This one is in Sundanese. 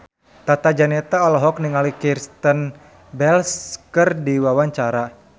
Tata Janeta olohok ningali Kristen Bell keur diwawancara